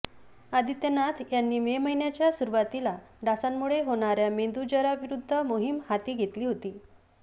आदित्यनाथ यांनी मे महिन्याच्या सुरुवातीला डासांमुळे होणाऱ्या मेंदूज्वराविरोधात मोहीम हाती घेतली होती